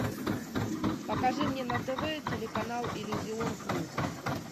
покажи мне на тв телеканал иллюзион плюс